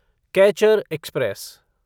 catcher express